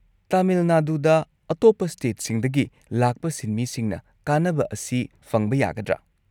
ꯇꯥꯃꯤꯜ ꯅꯥꯗꯨꯗ ꯑꯇꯣꯞꯄ ꯁ꯭ꯇꯦꯠꯁꯤꯡꯗꯒꯤ ꯂꯥꯛꯄ ꯁꯤꯟꯃꯤꯁꯤꯡꯅ ꯀꯥꯟꯅꯕ ꯑꯁꯤ ꯐꯪꯕ ꯌꯥꯒꯗ꯭ꯔꯥ?